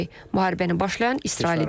Müharibəni başlayan İsraildir.